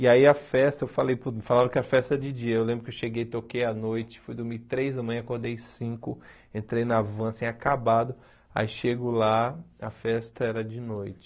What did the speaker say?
E aí a festa, falei falaram que a festa é de dia, eu lembro que eu cheguei, toquei à noite, fui dormir três da manhã, acordei cinco, entrei na van, assim, acabado, aí chego lá, a festa era de noite.